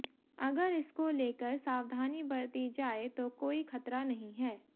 अगर इसको लेकर सावधानी बरती जाए तो कोई खतरा नहीं है